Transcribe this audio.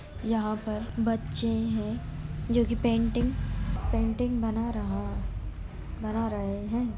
यहाँ पर बच्चे हैं जो कि पेंटिंग पेंटिंग बना रहा है बना रहे हैं।